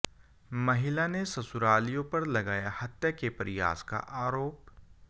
महिला ने ससुरालियों पर लगाया हत्या के प्रयास का आरोप